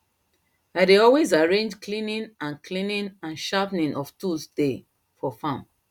i dey always arrange cleaning and cleaning and sharpening of tools day for farm